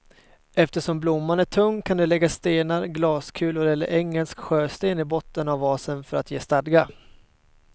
Eftersom blomman är tung kan du lägga stenar, glaskulor eller engelsk sjösten i botten av vasen för att ge stadga.